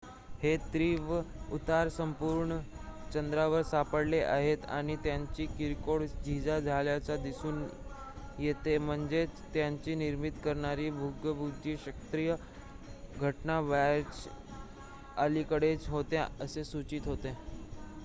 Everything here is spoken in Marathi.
हे तीव्र उतार संपूर्ण चंद्रावर सापडले आहेत आणि त्यांची किरकोळ झीजा झाल्याचे दिसून येते म्हणजेच त्यांची निर्मिती करणारे भूगर्भशास्त्रीय घटना बऱ्याच अलिकडच्या होत्या असे सूचित होते